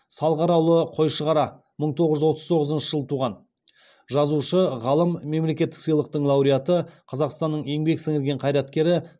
салғараұлы қойшығара мың тоғыз жүз отыз тоғызыншы жылы туған жазушы ғалым мемлекеттік сыйлықтың лауреаты қазақстанның еңбек сіңірген қайраткері